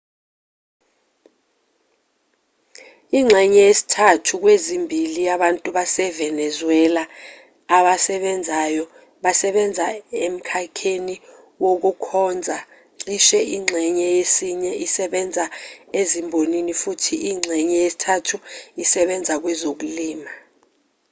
ingxenye yesithathu kwezimbili yabantu basevenezuela abasebenzayo basebenza emkhakheni wokukhonza cishe ingxenye yesine isebenza ezimbonini futhi ingxenye yesithathu isebenza kwezokulima